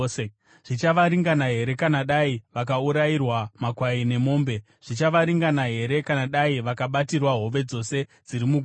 Zvichavaringana here kana dai vakaurayirwa makwai nemombe? Zvichavaringana here kana dai vakabatirwa hove dzose dziri mugungwa?”